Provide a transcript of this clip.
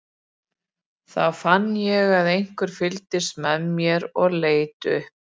Þá fann ég að einhver fylgdist með mér og leit upp.